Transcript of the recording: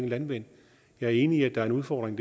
landvind jeg er enig i at der er en udfordring